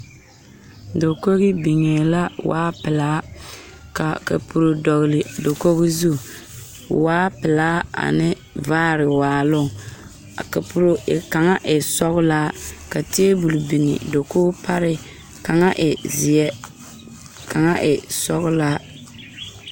Dakogi niŋee la a wa pelaa kaa kapuro dɔgele dakoo zu waa pelaa ane vaare waaloŋ kapuri kaŋ e sɔgelaa ka taabol biŋ dakoo pare kaŋa e zeɛ kaŋa e sɔgelaa